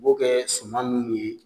U b'o kɛ suman nunnu ye